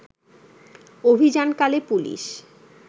অভিযানকালে police